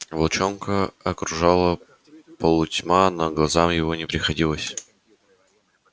волчонка окружала полутьма но глазам его не приходилось